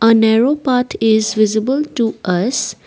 a narrow path is visible to us